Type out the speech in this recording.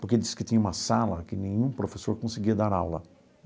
Porque diz que tinha uma sala que nenhum professor conseguia dar aula.